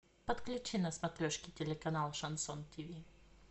подключи на смотрешке телеканал шансон тиви